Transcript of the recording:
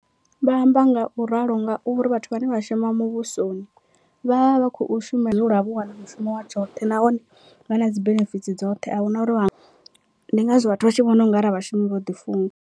Vha amba nga u ralo ngauri vhathu vhane vha shuma muvhusoni vha vha vha khou shuma lwa vho wana mushumo wa tshoṱhe, nahone vha na dzi benefitsi dzoṱhe ahuna uri vha ndi ngazwo vhathu vha tshi vhona ungari a vha shumi vho ḓi funga.